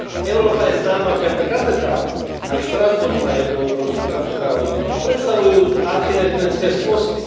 Európa je známa vďaka katedrálam aj Štrasburg má jednu obrovskú katedrálu a predstavujú architektonické skvosty.